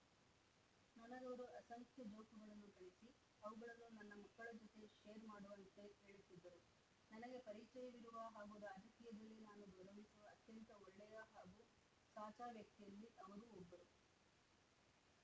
ನನಗವರು ಅಸಂಖ್ಯ ಜೋಕುಗಳನ್ನು ಕಳಿಸಿ ಅವುಗಳನ್ನು ನನ್ನ ಮಕ್ಕಳ ಜೊತೆ ಶೇರ್‌ ಮಾಡುವಂತೆ ಹೇಳುತ್ತಿದ್ದರು ನನಗೆ ಪರಿಚಯವಿರುವ ಹಾಗೂ ರಾಜಕೀಯದಲ್ಲಿ ನಾನು ಗೌರವಿಸುವ ಅತ್ಯಂತ ಒಳ್ಳೆಯ ಹಾಗೂ ಸಾಚಾ ವ್ಯಕ್ತಿಯಲ್ಲಿ ಅವರೂ ಒಬ್ಬರು